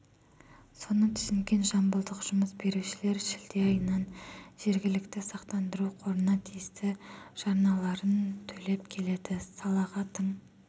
соны түсінген жамбылдық жұмыс берушілер шілде айынан жергілікті сақтандыру қорына тиісті жарналарын төлеп келеді салаға тың